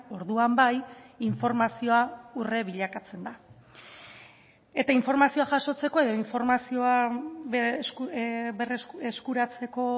orduan bai informazioa urre bilakatzen da eta informazioa jasotzeko edo informazioa eskuratzeko